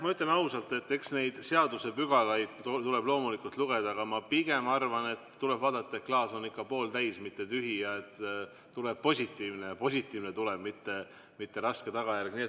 Ma ütlen ausalt, et eks neid seadusepügalaid tuleb loomulikult lugeda, aga ma pigem arvan, et tuleb vaadata, et klaas on ikka pooltäis, mitte -tühi ja et tuleb positiivne tulem, mitte raske tagajärg.